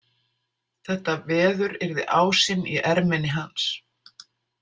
Þetta veður yrði ásinn í erminni hans.